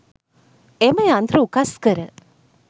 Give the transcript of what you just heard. එම යන්ත්‍ර උකස් කර